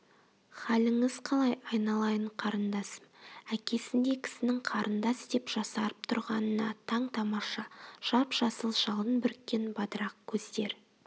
халіңіз қалай айналайын қарындасым әкесіндей кісінің қарындас деп жасарып тұрғанына таң-тамаша жап-жасыл жалын бүріккен бадырақ көздер